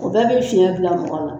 O bɛɛ bɛ fiɲɛ bila mɔgɔ la.